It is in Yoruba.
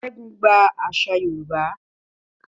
Segun gba àṣà Yorùbá.